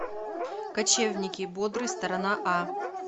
качевники бодрый сторона а